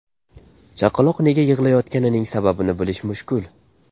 Chaqaloq nega yig‘layotganining sababini bilish mushkul.